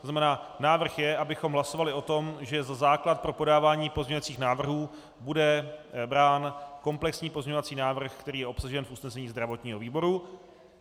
To znamená, návrh je, abychom hlasovali o tom, že za základ pro podávání pozměňovacích návrhů bude brán komplexní pozměňovací návrh, který je obsažen v usnesení zdravotního výboru.